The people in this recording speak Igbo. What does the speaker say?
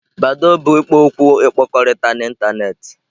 Badoo bụ ikpo okwu ịkpakọrịta n'ịntanetị.